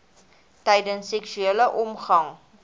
tydens seksuele omgang